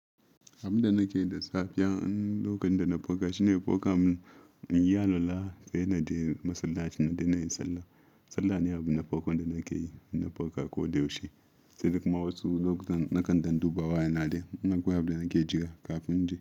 Abin da nakeyi da safiya, lokacin da na farka shine ko kamun inyi alola se naje masallaci don nayi sallah. Sallah ne abu na farkon da nake yi in na farka ko da yaushe. Sai dai kuma wasu lokutan nakan dan duba wayana dai in akwai abunda nake jira kafin in je.